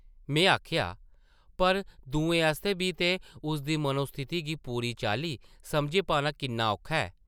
में आखेआ, ‘‘पर दुएं आस्तै बी ते उसदी मनोस्थिति गी पूरी चाल्ली समझी पाना किन्ना औखा ऐ ?’’